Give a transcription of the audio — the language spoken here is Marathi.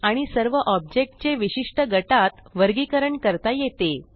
आणि सर्व ऑब्जेक्ट चे विशिष्ट गटात वर्गीकरण करता येते